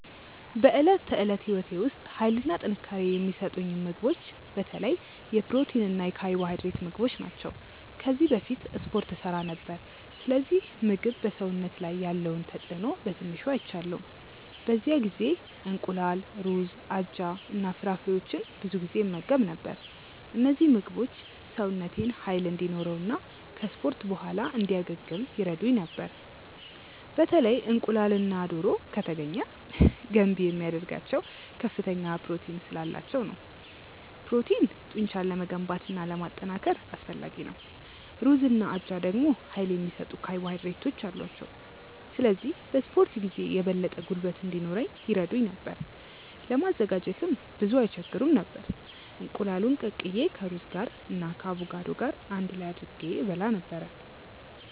በዕለት ተዕለት ሕይወቴ ውስጥ ኃይልና ጥንካሬ የሚሰጡኝን ምግቦች በተለይ የፕሮቲን እና የካርቦሃይድሬት ምግቦች ናቸው። ከዚህ በፊት እስፖርት እሠራ ነበር፣ ስለዚህ ምግብ በሰውነት ላይ ያለውን ተጽእኖ በትንሹ አይቻለሁ። በዚያ ጊዜ እንቁላል፣ ሩዝ፣ አጃ እና ፍራፍሬዎችን ብዙ ጊዜ እመገብ ነበር። እነዚህ ምግቦች ሰውነቴን ኃይል እንዲኖረው እና ከ እስፖርት በኋላ እንዲያገግም ይረዱኝ ነበር። በተለይ እንቁላልና ዶሮ( ከተገኘ ) ገንቢ የሚያደርጋቸው ከፍተኛ ፕሮቲን ስላላቸው ነው። ፕሮቲን ጡንቻን ለመገንባት እና ለማጠናከር አስፈላጊ ነው። ሩዝና አጃ ደግሞ ኃይል የሚሰጡ ካርቦሃይድሬቶች አሏቸው፣ ስለዚህ በ እስፖርት ጊዜ የበለጠ ጉልበት እንዲኖረኝ ይረዱኝ ነበር። ለማዘጋጀትም ብዙም አይስቸግሩም ነበር፤ እንቁላሉን ቀቅዬ ከሩዝ ጋር እና ከአቮካዶ ገር አንድ ላይ አድርጌ እበላ ነበረ።